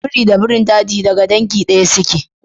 Biri da birin daji daga dangi ɗaya suke.